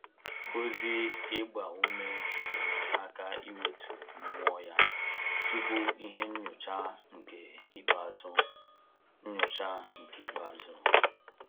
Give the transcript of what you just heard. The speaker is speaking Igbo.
Ozi ịgba ume nyere aka iwetu mmụọ ya tupu ihe nnyocha nke ikpeazu nnyocha nke ikpeazu